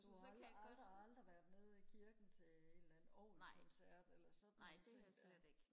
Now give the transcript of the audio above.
du har aldrig aldrig aldrig været nede i kirken til en eller anden orgelkoncert eller sådan nogle ting der